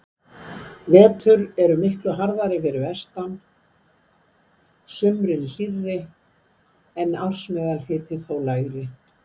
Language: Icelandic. Vetur eru miklu harðari fyrir vestan, sumrin hlýrri en ársmeðalhiti þó lægri.